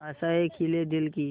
आशाएं खिले दिल की